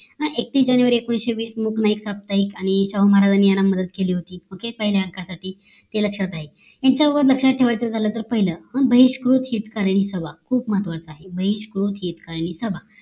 एकवीस जानेवारी एकोणीशे बीस नाईक साप्तायिक आणि साहू महाराज यांनी यांना मदत केली होती ओक पहिल्या हक्क साठी ते लक्ष्यात आहे यांच्यात लक्ष्यात ठेवायचं झालं तर ते पाहिलं बहिष्कृत हितकांनी सभा महत्वाचं आहे बहिष्कृत हितकांनी सभा